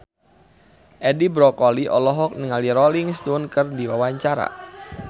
Edi Brokoli olohok ningali Rolling Stone keur diwawancara